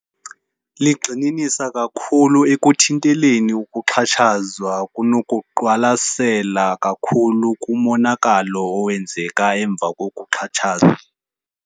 Ligxininisa kakhulu ekuthinteleni ukuxhatshazwa kunokuqwalasela kakhulu kumonakalo owenzeka emva kokuxhatshazwa.